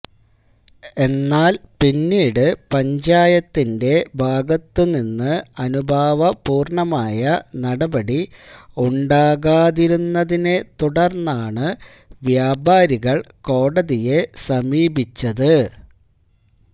എന്നാല് പിന്നീട് പഞ്ചായത്തിന്റെ ഭാഗത്തുനിന്ന് അനുഭാവപൂര്ണ്ണമായ നടപടി ഉണ്ടാകാതിരുന്നതിനെ തുടര്ന്നാണ് വ്യാപാരികള് കോടതിയെ സമീപിച്ചത്